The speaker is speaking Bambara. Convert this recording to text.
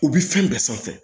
U bi fɛn bɛɛ sanfɛ